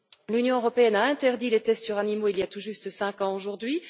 L'Union européenne a interdit les tests sur les animaux, il y a tout juste cinq ans aujourd'hui.